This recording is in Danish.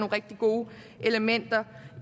rigtig gode elementer